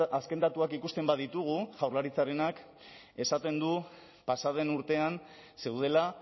azken datuak ikusten baditugu jaurlaritzarenak esaten du pasa den urtean zeudela